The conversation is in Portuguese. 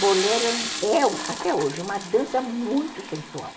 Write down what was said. Bolero é, até hoje, uma dança muito sensual.